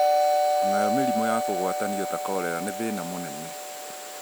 o nayo mĩrimũ ya kũgwatanio ta korera nĩ thĩna mũnene